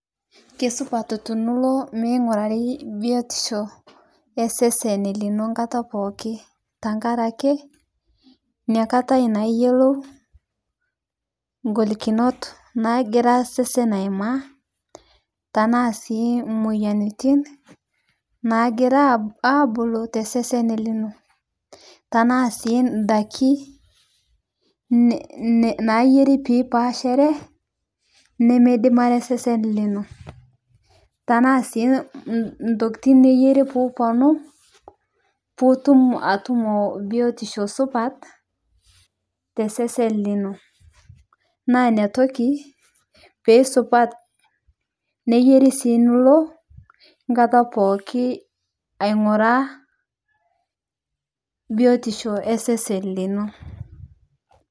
Kisupat tenilo mingurari biotisho esen lino enkata pookin tenkaraki enakata eyiolou eholikinot naagira osesen ayimaa tenaa moyiaritin naagira abulu tesesn lino tenaa sii daiki nayieri pee epashari nimidim osesen lino tenaa sii nayieri pee etum biotisho supat tesesen lino naa enotoki pee supat neyieu sii nilo enkata pookin aing'uraa biotisho osesen lino.